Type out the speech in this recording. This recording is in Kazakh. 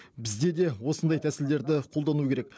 бізде де осындай тәсілдерді қолдану керек